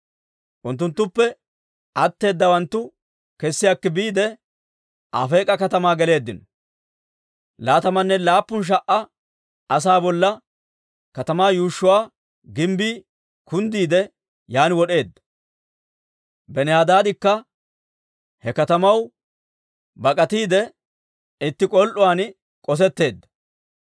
Unttunttuppe atteedawanttu kessi akki biide, Afeek'a katamaa geleeddino. Laatamanne laappun sha"a asaa bolla katamaa yuushshuwaa gimbbii kunddiide yaan wod'eedda. Benihadaadikka he katamaw bak'atiide, itti k'ol"uwaan k'osetteedda.